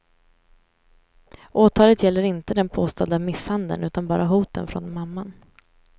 Åtalet gäller inte den påstådda misshandeln utan bara hoten från mamman.